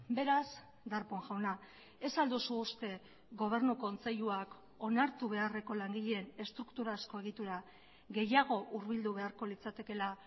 beraz darpón jauna ez al duzu uste gobernu kontseiluak onartu beharreko langileen estrukturazko egitura gehiago hurbildu beharko litzatekeela